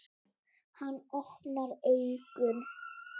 Hann opnar augun.